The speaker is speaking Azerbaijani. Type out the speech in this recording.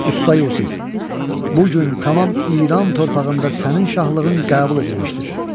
"Usta Yusif, bu gün tamam İran torpağında sənin şahlığın qəbul edilmişdir."